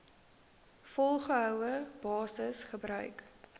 volgehoue basis gebruik